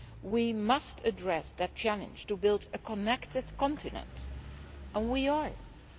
We must address the challenge of building a connected continent, and we are doing so.